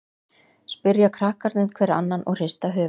spyrja krakkarnir hver annan og hrista höfuðið.